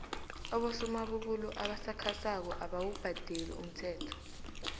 abosomabubulo abasakhasako abawubhadeli umthelo